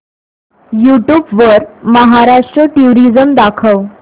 YouTube वर Maharashtra tourism दाखव